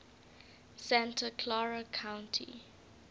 santa clara county